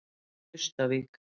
Naustavík